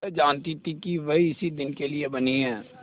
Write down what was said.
वह जानती थी कि वह इसी दिन के लिए बनी है